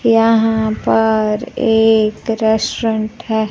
यहां पर एक रेस्टोरेंट है।